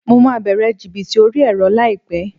Mo máa bẹ̀rẹ̀ jìbìtì orí ẹ̀rọ láìpẹ́